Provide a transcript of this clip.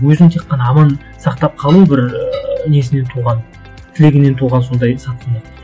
өзін тек қана аман сақтап қалу бір ыыы несінен туған тілегінен туған сондай сатқындық